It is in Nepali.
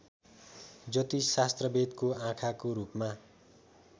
ज्योतिष शास्त्रवेदको आँखाको रूपमा